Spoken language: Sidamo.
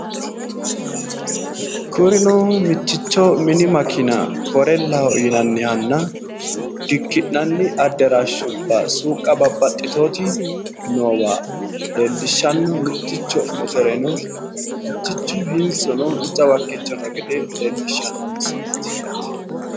Kurino mitticho mini makeena korellaho yinannihanna dikki'nanni adaraashubba suuqqa babbaxxitewooti noowa leellishshanno mitticho motore no, mitichu hintsu no, jawa haqqicho noo gede leellishshanno misileeti yaate.